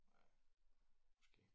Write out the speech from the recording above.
Ja måske